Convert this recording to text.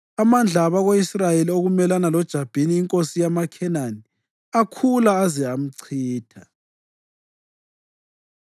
Amandla abako-Israyeli okumelana loJabhini inkosi yamaKhenani akhula, aze amchitha.